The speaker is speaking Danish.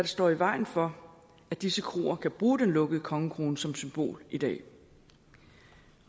står i vejen for at disse kroer kan bruge den lukkede kongekrone som symbol i dag